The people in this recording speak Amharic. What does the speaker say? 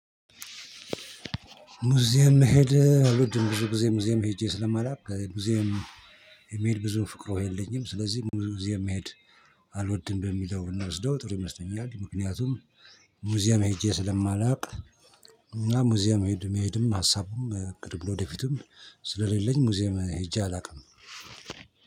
ሙዚየም መሄድ አልወድም። ብዙ ጊዜ ሙዚየም ሄጄ ስለማላውቅ ሙዚየም መሄድ ብዙ ፍቅሮ የለኝም። ስለዚህ ሙዚየም መሄድ አልወድም በሚለው ብንወስደው ጥሩ ይመስለኛል። ምክንያቱም ሙዚየም ሄጄ ስለማላውቅ፤ እና ሙዚየም መሄድም ሀሳቡም እቅዱም ለወደፊቱም ስለሌለኝ ሙዚየም ሄጄ አላውቅም።